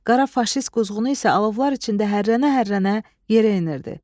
Qara faşist quzğunu isə alovlar içində hərrənə-hərrənə yerə enirdi.